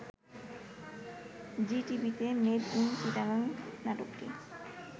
জিটিভিতে made in Chittagong নাটকটি